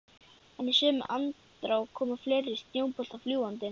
En í sömu andrá komu fleiri snjóboltar fljúgandi.